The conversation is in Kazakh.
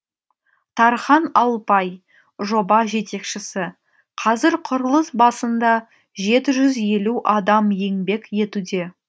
тархан алпай жоба жетекшісі қазір құрылыс басында жеті жүз елу адам еңбек етуде